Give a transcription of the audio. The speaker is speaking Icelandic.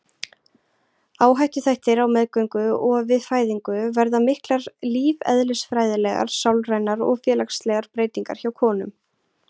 Áhættuþættir Á meðgöngu og við fæðingu verða miklar lífeðlisfræðilegar, sálrænar og félagslegar breytingar hjá konum.